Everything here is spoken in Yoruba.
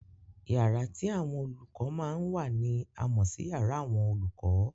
Yàrá tí àwọn olùkọ́ máa ń wà ni a mọ̀ sí yàrá àwọn olùkọ́.